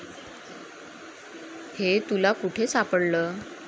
हे तुला कुठे सापडलं?